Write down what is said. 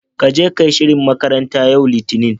Kage ka shirin makaranta, yau Litinin.